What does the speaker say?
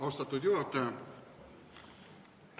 Austatud juhataja!